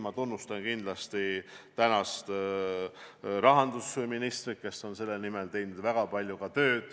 Ma tunnustan kindlasti tänast rahandusministrit, kes on teinud selle nimel väga palju tööd.